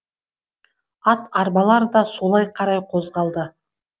ат арбалар да солай қарай қозғалды